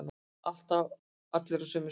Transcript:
Allir á sömu skrifstofu.